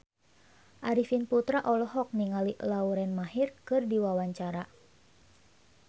Arifin Putra olohok ningali Lauren Maher keur diwawancara